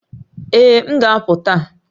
Ee, m ga-apụ taa